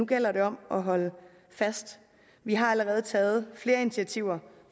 gælder det om at holde fast vi har allerede taget flere initiativer